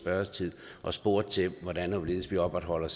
spørgetid og spurgt til hvordan og hvorledes vi opretholder